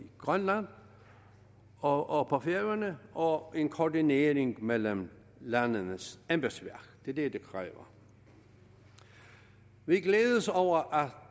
grønland og og på færøerne og en koordinering mellem landenes embedsværk det er det det kræver vi glæder os over at